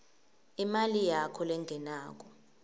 imali yakho lengenako